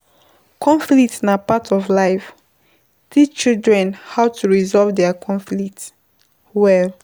Conflict na part of life, teach children how to resolve their conflict well